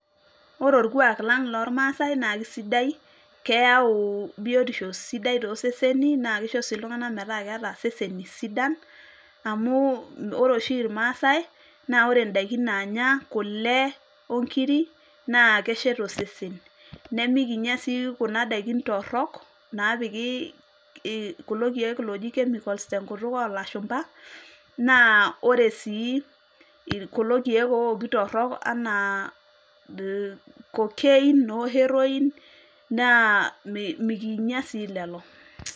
Ore orkuak lang' lormasai na kisidai, keyau biotisho sidai toseseni, na kisho si iltung'anak metaa keeta iseseni sidan, amu ore oshi irmaasai, na ore daiki naanya, kule onkiri, na keshet osesen. Nemikinya si kuna daiki torrok, napiki kulo keek oji chemicals tenkutuk olashumpa, naa ore si kulo keek ooki torrok enaa cocaine no heroine, naa mikinya si lelo.